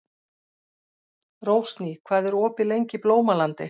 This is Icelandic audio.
Rósný, hvað er opið lengi í Blómalandi?